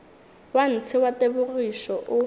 wa ntshe wa tebogišo o